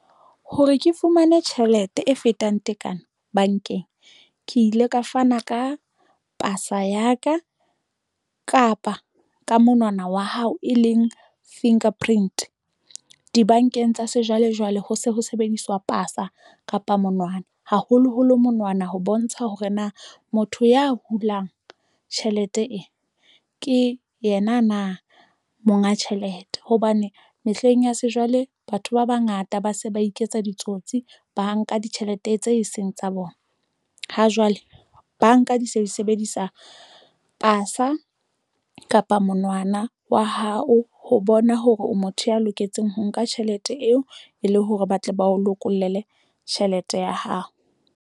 Hore ke fumane tjhelete e fetang tekano bankeng, ke ile ka fana ka pasa ya ka kapa ka monwana wa hao e leng fingerprint dibankeng tsa sejwalejwale. Ho se ho sebediswa pasa kapa monwana haholoholo monwana ho bontsha hore na motho ya hulang tjhelete ena ke yena na monga tjhelete hobane mehleng ya sejwale batho ba bangata ba se ba iketsa ditsotsi, ba nka ditjhelete tse seng tsa bona. Ha jwale banka di se di sebedisa pasa kapa monwana wa hao ho bona hore o motho ya loketseng ho nka tjhelete eo e le hore ba tle ba o lokolle tjhelete ya hao.